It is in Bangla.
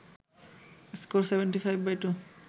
স্কোর ৭৫/২